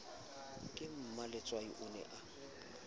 ka mmaletswai o ne a